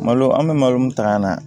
Malo an bɛ malo min ta ka na